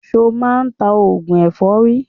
Ṣo máa ń ta oògùn èfọ́rí?